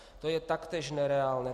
To je taktéž nereálné.